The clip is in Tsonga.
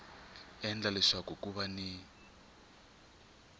endla leswaku ku va ni